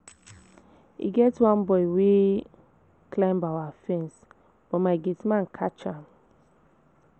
E get one boy wey climb our fence but my gate man catch am